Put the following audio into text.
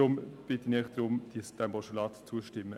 Ich bitte Sie, dem Postulat zuzustimmen.